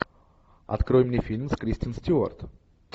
открой мне фильм с кристен стюарт